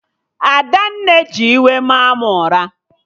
Adanne ji iwe maa mụ ụra